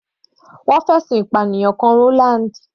Wọ́n fi ẹ̀sùn ìpànìyàn kan Roland.